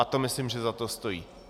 A to myslím, že za to stojí.